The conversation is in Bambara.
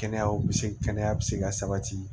Kɛnɛya bɛ se kɛnɛya bɛ se ka sabati